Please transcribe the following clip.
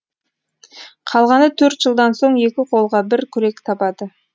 қалғаны төрт жылдан соң екі қолға бір күрек табады